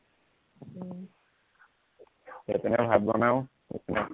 এইপিনে ভাত বনাও এইপিনে